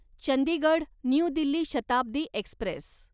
Chandigarh new Delhi Shatabdi Express